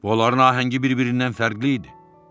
Onların ahəngi bir-birindən fərqli idi.